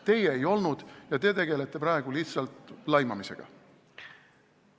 Teie ei olnud ja te tegelete praegu lihtsalt laimamisega.